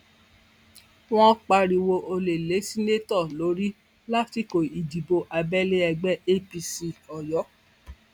wọn pariwo olè lé seneto lórí lásìkò ìdìbò abẹlé ẹgbẹ apc oyo